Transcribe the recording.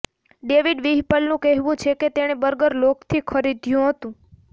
David વ્હિપલનું કહેવું છે કે તેણે બર્ગર લોગથી ખરીદ્યું હતું